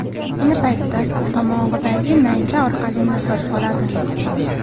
Ayni paytda tomog‘idagi naycha orqali nafas oladi.